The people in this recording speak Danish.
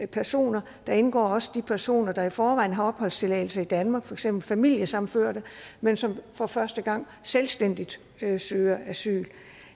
personer der indgår også de personer der i forvejen har opholdstilladelse i danmark for eksempel familiesammenførte men som for første gang selvstændigt søger asyl